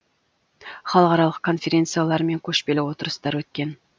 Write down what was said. халықаралық конференциялар мен көшпелі отырыстар өткен